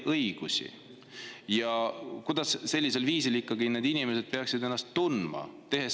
Sellele ma vastust ei saanud, kuidas sellisel juhul need inimesed peaksid ennast tundma?